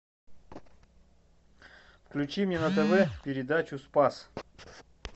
включи мне на тв передачу спас